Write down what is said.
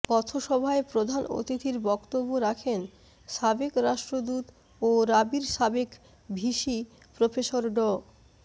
পথসভায় প্রধান অতিথির বক্তব্য রাখেন সাবেক রাষ্ট্রদূত ও রাবির সাবেক ভিসি প্রফেসর ড